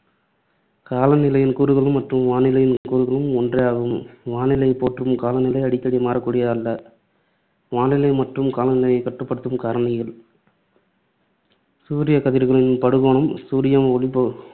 காலநிலையின் கூறுகளும் மற்றும் வானிலையின் கூறுகளும் ஒன்றே ஆகும். வானிலையைப் போன்று காலநிலை அடிக்கடி மாறக்கூடியது அல்ல. வானிலை மற்றும் காலநிலையை கட்டுப்படுத்தும் காரணிகள் சூரியக்கதிர்களின் படுகோணம், சூரிய ஒளிப்ப~